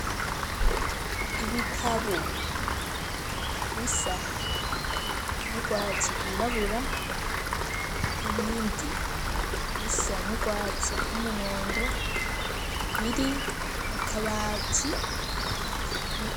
Ibitabu bisa n'urwatsi rwirabura ibindi bisa n'urwatsi rw'umuhondo biri mu kabati.